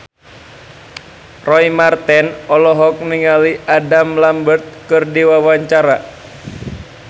Roy Marten olohok ningali Adam Lambert keur diwawancara